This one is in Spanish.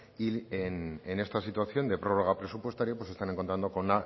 y en esta situación de prórroga presupuestaria se están encontrando con